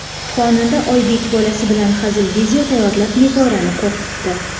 Xonanda Oybek bolasi bilan hazil video tayyorlab, Nigorani qo‘rqitdi.